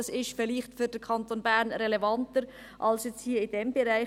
Das ist für den Kanton Bern vielleicht relevanter als jetzt hier in diesem Bereich.